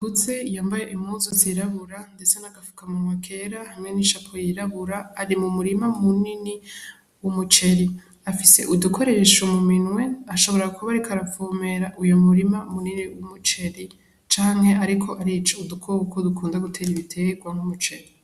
Akuze yambaye impuzu zirabura ndetse n' agafukamunwa kirabura hamwe n' ishapo yirabura ari mu murima munini w' umuceri afise udukoresho mu minwe ashobora kuba ariko aravomerera uwo murima munini w' umuceri canke ariko arica udukoko dukunda gutera ibitegwa nk'umuceri.